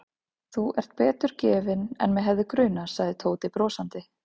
Þú ert betur gefinn en mig hefði grunað sagði Tóti brosandi.